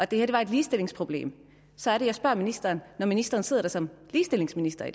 det her var et ligestillingsproblem så er det jeg spørger ministeren om når ministeren sidder der som ligestillingsminister